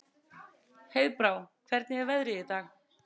Heiðbrá, hvernig er veðrið í dag?